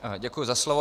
Děkuji za slovo.